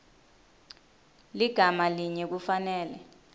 ligama linye kufanele